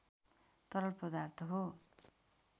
तरल पदार्थ हो